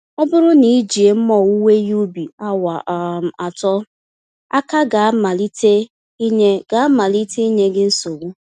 Ọbụrụ na ijie mma owuwe ihe ubi awa um atọ, aka gá malite ịnye gá malite ịnye gị nsogbu.